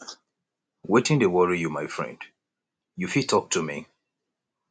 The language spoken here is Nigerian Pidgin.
wetin dey worry you my friend you fit talk to me